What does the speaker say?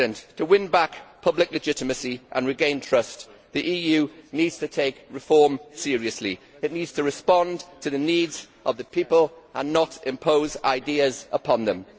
To win back public legitimacy and regain trust the EU needs to take reform seriously, it needs to respond to the needs of the people and not impose ideas upon them.